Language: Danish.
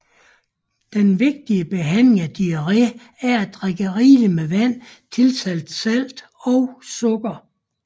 Den vigtigste behandling af diarré er at drikke rigeligt med vand tilsat salt og sukker